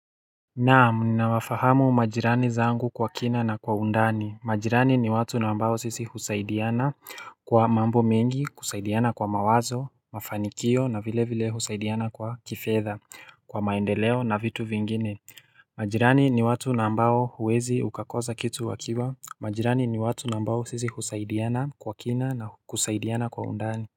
Naam, ninawafahamu majirani zangu kwa kina na kwa undani. Majirani ni watu ambao sisi husaidiana kwa mambo mengi, kusaidiana kwa mawazo, mafanikio na vile vile husaidiana kwa kifedha, kwa maendeleo na vitu vingine. Majirani ni watu ambao huwezi ukakosa kitu wakiwa. Majirani ni watu nambao sisi husaidiana kwa kina na kusaidiana kwa undani.